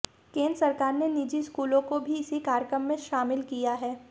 केंद्र सरकार ने निजी स्कूलों को भी इस कार्यक्रम में शामिल किया है